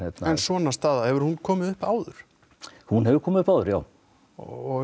svona staða hefur hún komið upp áður hún hefur komið upp áður já og